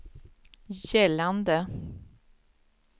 gällande